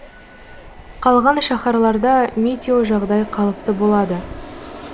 қалған шаһарларда метеожағдай қалыпты болады